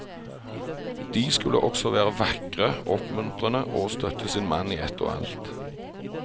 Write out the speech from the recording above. De skulle også være vakre, oppmuntrende og støtte sin mann i ett og alt.